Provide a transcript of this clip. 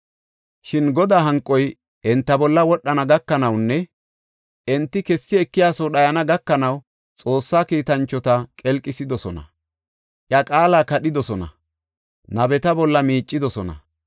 Shin Godaa hanqoy enta bolla wodhana gakanawunne enti kessi ekiyaso dhayana gakanaw Xoossaa kiitanchota qelqisidosona; iya qaala kadhidosona; nabeta bolla miicidosona.